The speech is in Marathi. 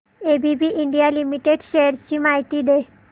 एबीबी इंडिया लिमिटेड शेअर्स ची माहिती दे